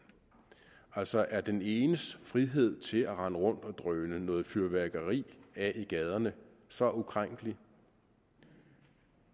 altså er den enes frihed til at rende rundt og drøne noget fyrværkeri af i gaderne så ukrænkelig